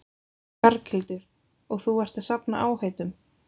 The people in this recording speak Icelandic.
Berghildur: Og þú ert að safna áheitum?